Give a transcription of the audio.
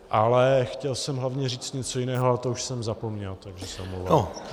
Ale chtěl jsem hlavně říct něco jiného, ale to už jsem zapomněl, takže se omlouvám.